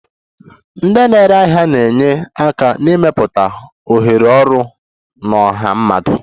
Ndị na-ere ahịa na-enye aka n'ịmepụta ohere ọrụ na ọha mmadụ